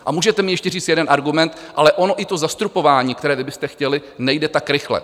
A můžete mi ještě říct jeden argument: ale ono i to zastropování, které vy byste chtěli, nejde tak rychle.